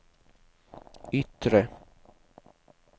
yttre